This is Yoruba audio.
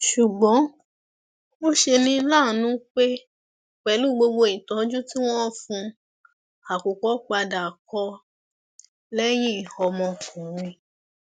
ṣùgbọn ó ṣe ní láàánú pé pẹlú gbogbo ìtọjú tí wọn fún un àkùkọ padà kò lẹyìn ọmọkùnrin